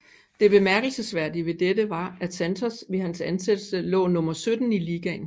Det bemærkelsesværdige ved dette var at Santos ved hans ansættelse lå nummer 17 i ligaen